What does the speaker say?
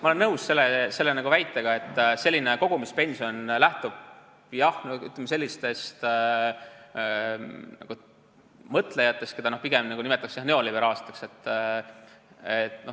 Ma olen nõus selle väitega, et selline kogumispension lähtub tõesti sellistest mõtlejatest, keda pigem nimetatakse neoliberaalseteks.